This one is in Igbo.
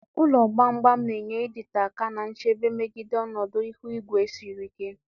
Ụlọ gbam gbam na-enye ịdịte aka na nchebe megide ọnọdụ ihu igwe siri ike.